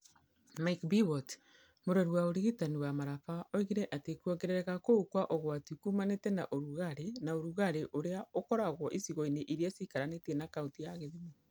Micha Biwott, mũrori wa ũrigitani wa Maraba oigire atĩ kwongerereka kũu kwa ũgwati kuumanĩte na ũrugarĩ na ũrugarĩ ũrĩa ũkoragwo icigo-inĩ iria ciikaranĩtie na kaunti ya gĩthumo.